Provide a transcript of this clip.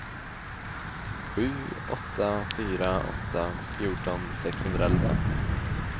sju åtta fyra åtta fjorton sexhundraelva